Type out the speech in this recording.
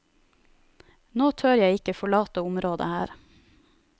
Nå tør jeg ikke forlate området her.